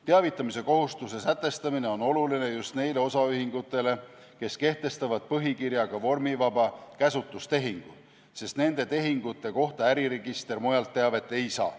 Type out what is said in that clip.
Teavitamise kohustuse sätestamine on oluline just neile osaühingutele, kes kehtestavad põhikirjaga vormivaba käsutustehingu, sest nende tehingute kohta äriregister mujalt teavet ei saa.